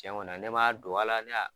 Cɛ ŋɔni na ne m'a dogo a la, ne y'a